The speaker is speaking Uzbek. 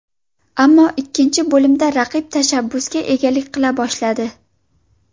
Ammo ikkinchi bo‘limda raqib tashabbusga egalik qila boshladi.